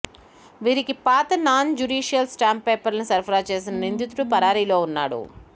వీరికి పాత non judicial stamp పేపర్లు సరఫరా చేసిన నిందితుడు పరారీలో ఉన్నాడు